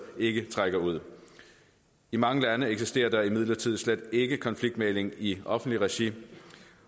ikke trækker ud i mange lande eksisterer der imidlertid slet ikke konfliktmægling i offentligt regi